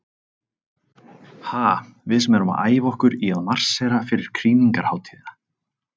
Ha, við sem erum að æfa okkur í að marsera fyrir krýningarhátíðina.